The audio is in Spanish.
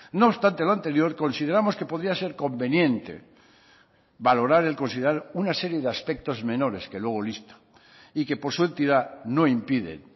no obstante a lo anterior consideramos que podría ser conveniente valorar y considerar una serie de aspectos menores que luego listo y que por su entidad no impiden